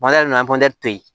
nana to yen